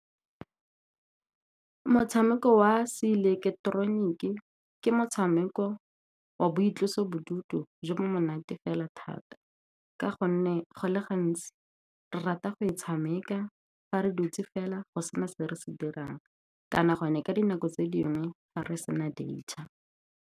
Motshameko wa seileketeroniki ke motshameko wa boitlosobodutu jo bo monate fela thata, ka gonne go le gantsi re rata go e tshameka fa re dutse fela go sena se re se dirang, kana gonne ka dinako tse dingwe ga re se na .